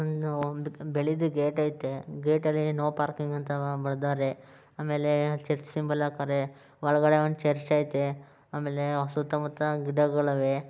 ಒಂದು ಬಿಳಿದ ಗೇಟ್ ಅಯ್ತೆ ಗೇಟಲ್ಲಿ ನೋ ಪಾರ್ಕಿಂಗ್ ಅಂತ ಬರೆದಿದ್ದಾರೆ ಆಮೇಲೆ ಚರ್ಚ್ ಸಿಂಬಲ್ ಆಕೋರೆ ಒಳಗಡೆ ಒಂದು ಚರ್ಚ್ ಐತೆ ಆಮೇಲೆ ಸುತ್ತಮುತ್ತ ಗಿಡಗಳ ವೇ.